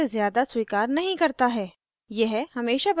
यह 10 characters से ज़्यादा स्वीकार नहीं करता है